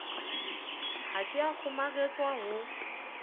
ha ke a kgomaretswa ho